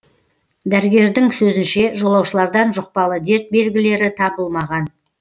дәрігердің сөзінше жолаушылардан жұқпалы дерт белгілері табылмаған